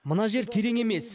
мына жер терең емес